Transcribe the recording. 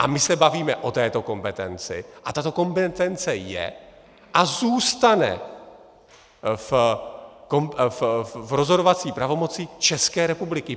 A my se bavíme o této kompetenci a tato kompetence je a zůstane v rozhodovací pravomoci České republiky.